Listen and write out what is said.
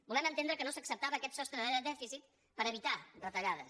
volem entendre que no s’acceptava aquest sostre de dèficit per evitar retallades